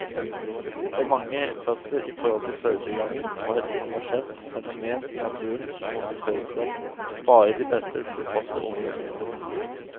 For mange fødsler i forhold til fødetilgangen var et universelt fenomen i naturen som måtte føre til at bare de best tilpassede overlevde.